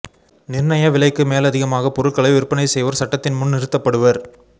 நிர்ணய விலைக்கு மேலதிகமாக பொருட்களை விற்பனை செய்வோர் சட்டத்தின் முன் நிறுத்தப்படுவர்